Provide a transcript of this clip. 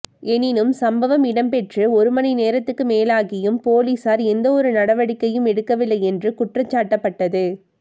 எனினும் சம்பவம் இடம்பெற்று ஒரு மணி நேரத்துக்கு மேலாகியும் பொலிஸார் எந்தவொரு நடவடிக்கையும் எடுக்கவில்லை என்று குற்றஞ்சாட்டப்பட்டது